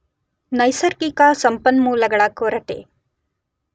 ನೈಸರ್ಗಿಕ ಸಂಪನ್ಮೂಲಗಳ ಕೊರತೆ.